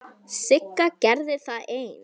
Sigga gerði það ein.